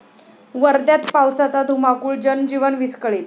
वर्ध्यात पावसाचा धुमाकूळ, जनजीवन विस्कळीत